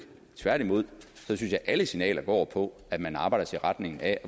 tværtimod synes jeg at alle signaler går på at man arbejder i retning af